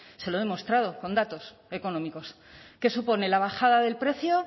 se lo he demostrado con datos económicos qué supone la bajada del precio